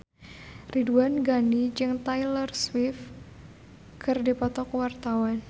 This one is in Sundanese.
Ridwan Ghani jeung Taylor Swift keur dipoto ku wartawan